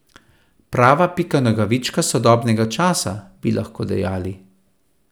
Prava Pika Nogavička sodobnega časa, bi lahko dejali.